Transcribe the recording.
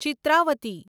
Chitravati